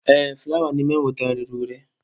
Ee, fụlawa niile m nwetara rere ure.